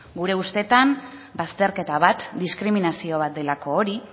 gure ustetan bazterketa bat diskriminazio bat delako hori